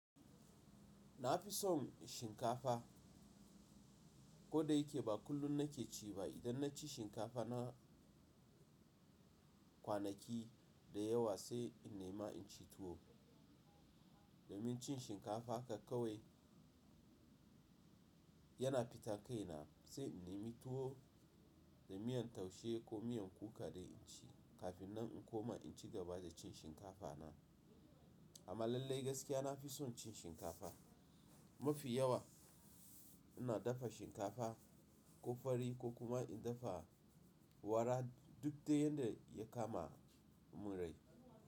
Na fi son shinkafa. Koda yake ba kullum na ke ci ba. Idan na ci shinkafa na kwanaki da yawa sai in nema in ci tuwo. Domin cin shinkafa haka kawai yana fita kai na, sai in nemi tuwo da miyan taushe ko miyan kuka dai in ci. Kafin nan in koma in cigaba da cin shinkafa na. Amma lallai gaskiya na fi son cin shinkafa. Mafi yawa ina dafa shinkafa ko fari ko kuma in dafa wara duk dai yanda ya kama mun rai.